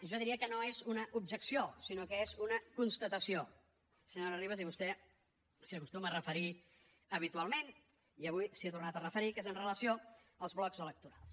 jo diria que no és una objecció sinó que és una constatació senyora ribas i vostè s’hi acostuma a referir habitualment i avui s’hi ha tornat a referir que és amb relació als blocs electorals